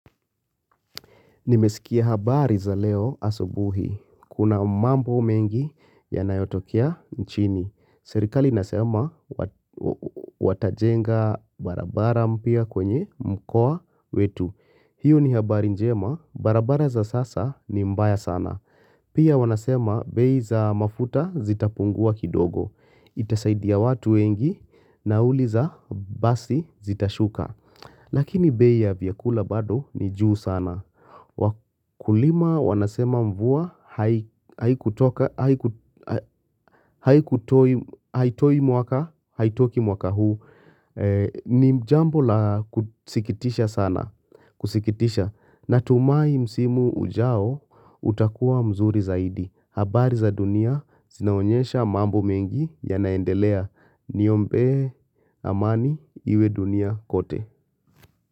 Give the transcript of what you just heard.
Nimesikia habari za leo asubuhi. Kuna mambo mengi yanayotokea nchini. Serikali inasema watajenga barabara mpya kwenye mkoa wetu. Hiyo ni habari njema. Barabara za sasa ni mbaya sana. Pia wanasema bei za mafuta zitapungua kidogo. Itasaidia watu wengi nauli za basi zitashuka. Lakini bei ya vyakula bado ni juu sana. Wakulima wanasema mvua haitoki mwaka huu ni jambo la kusikitisha sana Kusikitisha natumai msimu ujao utakuwa mzuri zaidi habari za dunia zinaonyesha mambo mengi ya naendelea Niombee amani iwe dunia kote.